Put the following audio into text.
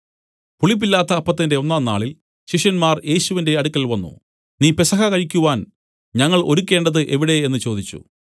പുളിപ്പില്ലാത്ത അപ്പത്തിന്റെ ഒന്നാം നാളിൽ ശിഷ്യന്മാർ യേശുവിന്റെ അടുക്കൽ വന്നു നീ പെസഹ കഴിക്കുവാൻ ഞങ്ങൾ ഒരുക്കേണ്ടത് എവിടെ എന്നു ചോദിച്ചു